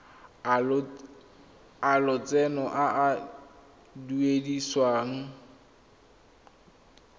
a lotseno a a duedisiwang